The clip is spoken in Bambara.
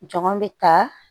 Jɔn bɛ ta